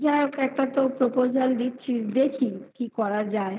যাই হোক একটা source proposal দিচ্ছি দেখি কি করা যায়